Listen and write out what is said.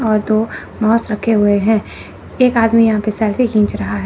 और दो मास रखे हुए हैं एक आदमी यहां पे सेल्फी खींच रहा है।